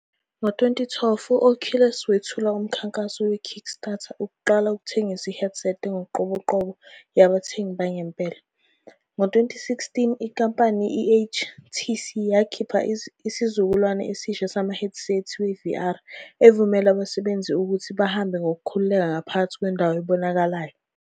Ngo-2012, u-Oculus wethula umkhankaso we-Kickstarter ukuqala ukuthengisa i-headset engokoqobo yabathengi bangempela. Ngo-2016, inkampani, i-HTC yakhipha isizukulwane esisha samahedisethi we-VR evumela abasebenzisi ukuthi bahambe ngokukhululeka ngaphakathi kwendawo ebonakalayo.